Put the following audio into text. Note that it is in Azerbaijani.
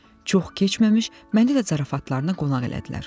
Çox keçməmiş məni də zarafatlarına qonaq elədilər.